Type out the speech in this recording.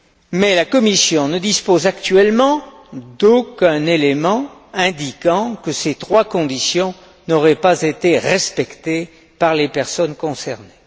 Mais la Commission ne dispose actuellement d'aucun élément indiquant que ces trois conditions n'auraient pas été respectées par les personnes concernées.